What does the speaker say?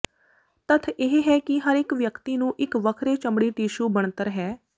ਤੱਥ ਇਹ ਹੈ ਕਿ ਹਰ ਇੱਕ ਵਿਅਕਤੀ ਨੂੰ ਇੱਕ ਵੱਖਰੇ ਚਮੜੀ ਟਿਸ਼ੂ ਬਣਤਰ ਹੈ